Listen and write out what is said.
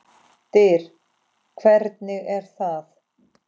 DYR, HVERNIG ER ÞAÐ!